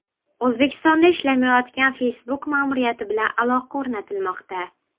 O‘zbekistonda ishlamayotgan Facebook ma’muriyati bilan aloqa o‘rnatilmoqda.